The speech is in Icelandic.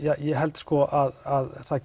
ég held að það